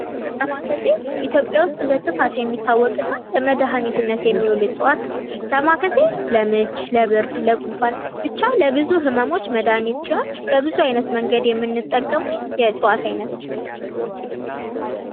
ዳማከሴ ኢትዮጵያ ውስጥ በስፋት የሚታወቅ እና ለመድኃኒትነት የሚውል እፅዋት ነው። ዳማከሴ ለምች፣ ለብርድ፣ ለጉንፋን ብቻ ለብዙ ህመሞች መድሃኒት ሲሆን በብዙ አይነት መንገድ የምንጠቀመው የእፅዋት አይነት ነው ።